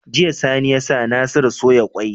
Jiya sani yasa nasiru soya kwai